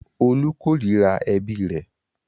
Olú korira ẹbí rẹ̀.